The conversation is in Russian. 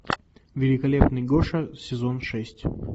великолепный гоша сезон шесть